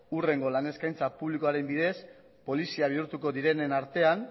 hurrengo lan eskaintza publikoaren bidez polizia bihurtuko direnen artean